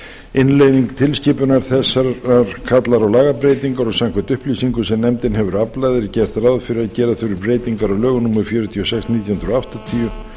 innleiðing tilskipunar þessarar kallar á lagabreytingar og samkvæmt upplýsingum sem nefndin hefur aflað er gert ráð fyrir að gera þurfi breytingar á lögum númer fjörutíu og sex nítján hundruð áttatíu